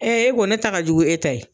Ee e ko ne ta ka jugu n'e ta ye.